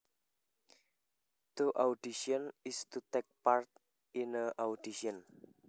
To audition is to take part in an audition